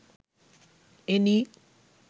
any